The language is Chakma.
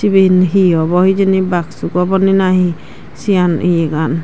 iben hi obo hijeni baksuk oboni na hi sian ye gan.